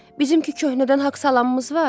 Bizimki köhnədən haqq salamımız var.